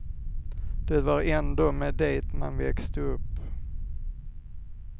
Det var ändå med det man växte upp.